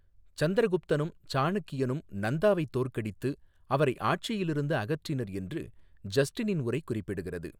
சந்திரகுப்தனும், சாணக்கியனும் நந்தாவை தோற்கடித்து, அவரை ஆட்சியிலிருந்து அகற்றினர் என்று ஜஸ்டினின் உரை குறிப்பிடுகிறது.